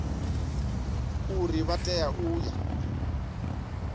uri vha tea u ya